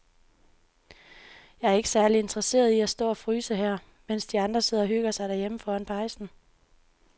Jeg er ikke særlig interesseret i at stå og fryse her, mens de andre sidder og hygger sig derhjemme foran pejsen.